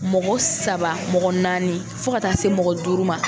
Mɔgɔ saba mɔgɔ naani fo ka taa se mɔgɔ duuru ma.